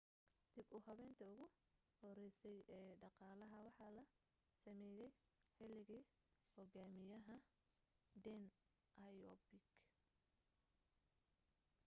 dib u habeynti ugu horeysay ee dhaqalaha waxaa la sameeyay xiligii hogaamiyaha deng xiaoping